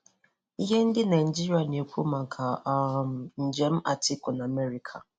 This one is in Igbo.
Ihe ndị Naijiria na-ekwu maka um njem Atiku na Amerika